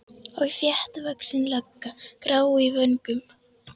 Og þéttvaxin lögga, grá í vöngum.